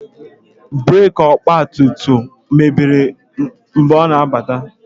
Breeki ọgba tum tum ya mebiri ka ọ na-alọta.